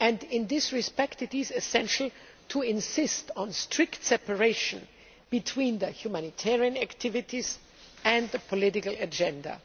In this respect, it is essential to insist on strict separation between the humanitarian activities and the political agenda.